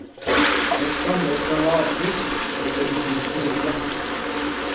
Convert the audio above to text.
Det stammer fra lavtysk, hvor det betyr snute.